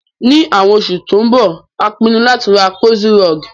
Ní àwon osù tó n bo, a pinun láti ra cozy rug